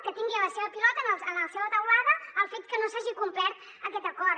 que tingui la seva pilota en la seva teulada el fet que no s’hagi complert aquest acord